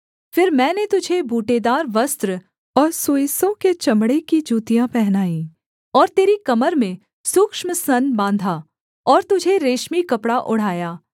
फिर मैंने तुझे बूटेदार वस्त्र और सुइसों के चमड़े की जूतियाँ पहनाई और तेरी कमर में सूक्ष्म सन बाँधा और तुझे रेशमी कपड़ा ओढ़ाया